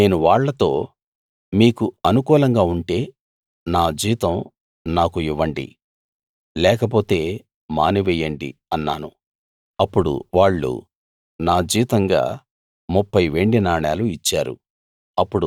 నేను వాళ్ళతో మీకు అనుకూలంగా ఉంటే నా జీతం నాకు ఇవ్వండి లేకపోతే మానివెయ్యండి అన్నాను అప్పుడు వాళ్ళు నా జీతంగా 30 వెండి నాణాలు ఇచ్చారు